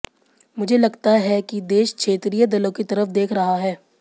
मुझे लगता है कि देश क्षेत्रीय दलों की तरफ देख रहा है